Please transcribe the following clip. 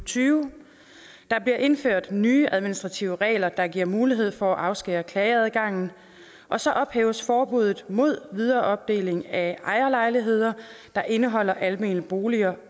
tyve der bliver indført nye administrative regler der giver mulighed for at afskære klageadgangen og så ophæves forbuddet mod videreopdeling af ejerlejligheder der indeholder almene boliger